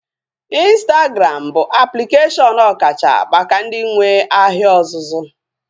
Ịnstagram bụ aplikeshọn ọkacha maka ndị nwee ahịa ọzụzụ